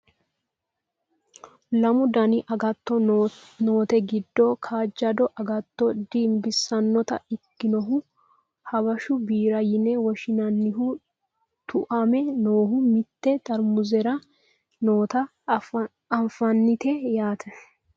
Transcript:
Lamu dani agatto noote giddo kaajjado agattto dinbissannota ikkinohu habeshu biira yine woshshinannihu tuame noohu mitte xarmuzera noota anfannite yaate